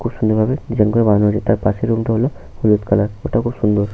খুব সুন্দর ভাবে ডিসাইন করে বানানো হয়েছে। তার পাশের রুমটা হল হলুদ কালার । ঐটাও খুব সুন্দর।